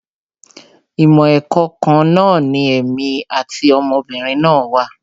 Ìmọ̀ ẹ̀kọ́ kan náà ni èmi àti ọmọ obìnrin náà wà